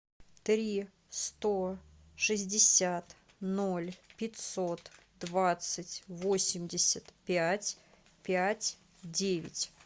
три сто шестьдесят ноль пятьсот двадцать восемьдесят пять пять девять